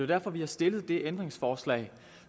derfor vi har stillet det ændringsforslag